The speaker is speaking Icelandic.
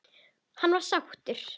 Hann var sáttur.